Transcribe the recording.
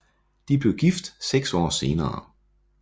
De blev gift seks år senere